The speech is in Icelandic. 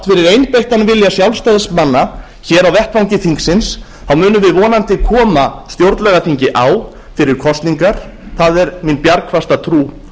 fyrir einbeittan vilja sjálfstæðismanna hér á vettvangi þingsins munum við vonandi koma stjórnlagaþingi á fyrir kosningar það er mín bjargfasta trú